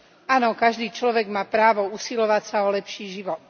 Áno, každý človek má právo usilovať sa o lepší život.